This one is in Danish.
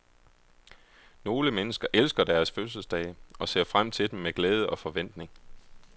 Nogle mennesker elsker deres fødselsdage og ser frem til dem med glæde og forventning.